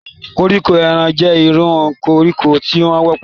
Koriko eran jẹ iru koriko ti o wọpọ.